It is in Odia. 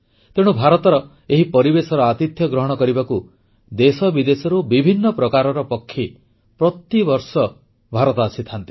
ତେଣୁ ଭାରତର ଏହି ପରିବେଶର ଆତିଥ୍ୟ ଗ୍ରହଣ କରିବାକୁ ଦେଶବିଦେଶର ବିଭିନ୍ନ ପ୍ରକାରର ପକ୍ଷୀ ପ୍ରତିବର୍ଷ ଭାରତ ଆସିଥାନ୍ତି